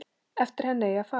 Eftir henni eigi að fara.